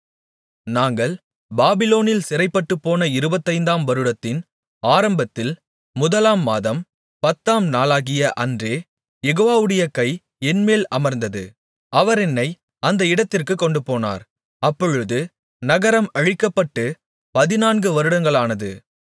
நாங்கள் பாபிலோனில் சிறைப்பட்டுப்போன இருபத்தைந்தாம் வருடத்தின் ஆரம்பத்தில் முதலாம் மாதம் பத்தாம் நாளாகிய அன்றே யெகோவாவுடைய கை என்மேல் அமர்ந்தது அவர் என்னை அந்த இடத்திற்குக் கொண்டுபோனார் அப்பொழுது நகரம் அழிக்கப்பட்டுப் பதினான்கு வருடங்களானது